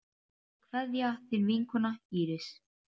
Kveðja, þín vinkona Íris.